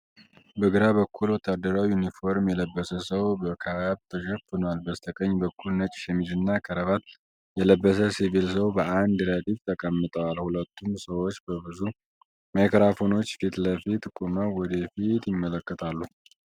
በግራ በኩል፣ ወታደራዊ ዩኒፎርም የለበሰ ሰው በካፕ ተሸፍኗል። በስተቀኝ በኩል፣ ነጭ ሸሚዝና ክራቫት የለበሰ ሲቪል ሰው በአንድ ረድፍ ተቀምጠዋል። ሁለቱም ሰዎች በብዙ ማይክሮፎኖች ፊት ለፊት ቆመው ወደ ፊት ይመለከታሉ።